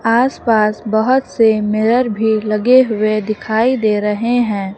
आसपास बहोत से मिरर भी लगे हुए दिखाई दे रहे हैं।